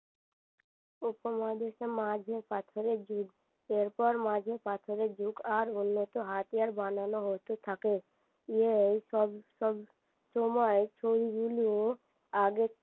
উপমহাদেশে মাঝে পাথরের যুগ এরপর মাঝে পাথরের যুগ আর উন্নত হাতিয়ার বানানো হতে থাকে এই সব সময় চুলগুলো আগের